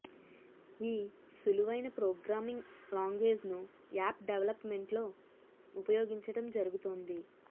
ఈ సులువైన ప్రోగ్రామింగ్ లాంగ్వేజ్ను యాప్ డెవలప్మెంట్లో ఉపయోగించటం జరుగుతోంది